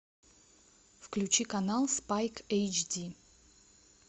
включи канал спайк эйчди